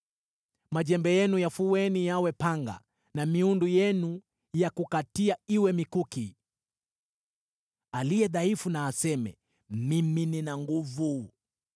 Majembe yenu yafueni yawe panga na miundu yenu ya kukatia iwe mikuki. Aliye dhaifu na aseme, “Mimi nina nguvu!”